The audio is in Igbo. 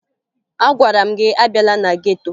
Agwara m gị abịala na geto!